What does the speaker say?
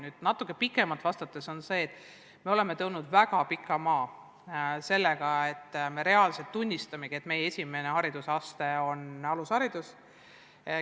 Kui natuke pikemalt vasta, siis me oleme läbinud väga pika maa juba sellega, et me reaalselt tunnistame, et meie esimene haridusaste on alusharidus.